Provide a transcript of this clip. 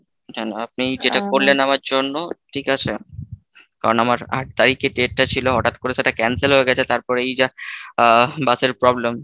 কেন আপনি যেটা করলেন আমার জন্য ঠিক আছে কারণ আমার আট তারিখে date টা ছিল, হঠাৎ করে সেটা cancel হয়ে গেছে তারপরে এই যা আহ bus এর problem,